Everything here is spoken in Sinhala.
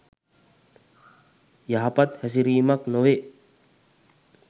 යහපත් හැසිරීමක් නොවේ.